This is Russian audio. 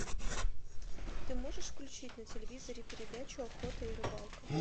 ты можешь включить на телевизоре передачу охота и рыбалка